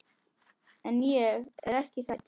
En ég er ekki hrædd.